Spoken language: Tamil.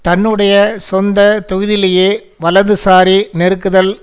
தன்னுடைய சொந்த தொகுதியிலேயே வலதுசாரி நெருக்குதல்